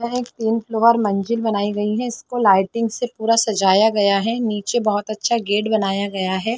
और एक तीन फ्लौर मंजिल बनाई गई है इसको लाइटिंग से पूरा सजाया गया है नीचे बहोत अच्छा गेट बनाया गया है।